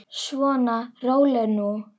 Svona, rólegur nú.